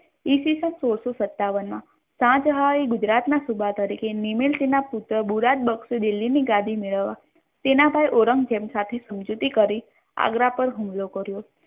ઈસ્વીસન સોળસો સતાવન મા સહજહાન એ ગુજરાત ના સૂબા તરીકે નેમિલિશી ના પુત્ર બુરાદબક્ષ દિલી ની ગાદી મેળવા તેનાથી ઔરંગઝેબ સાથે સંમજૌતી કરી આગરા પર હુમલો કર્યો.